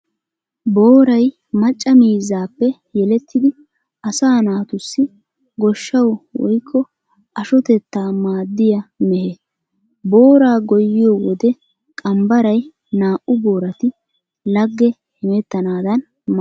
Booray macca miizzaappe yelettidi asaa naatussi goshshawu woykko ashotettaa maaddiyaa mehe. Booraa goyyiyo wode qambbaray naa"u boorati lagge hemettanadan maaddees.